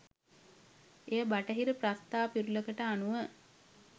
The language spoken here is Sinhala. එය බටහිර ප්‍රස්තා පිරුළකට අනුව